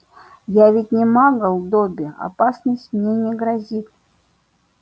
я ведь не магл добби опасность мне не грозит